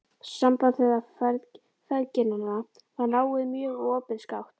Samband þeirra feðginanna var náið mjög og opinskátt.